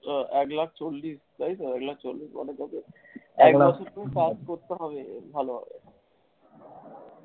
হ্যাঁ, এক লাখ চল্লিশ তাই তো, এক লাখ চল্লিশ হাজার টাকা একটা কিছু কাজ করতে হবে ভালভাবে।